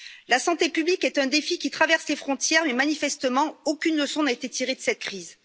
La santé publique est un défi qui traverse les frontières, mais manifestement, aucune leçon n'a été tirée de cette crise.